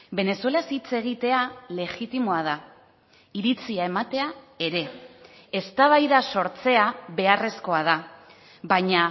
venezuelaz hitz egitea legitimoa da iritzia ematea ere eztabaida sortzea beharrezkoa da baina